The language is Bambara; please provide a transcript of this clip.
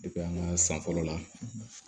an ka san fɔlɔ la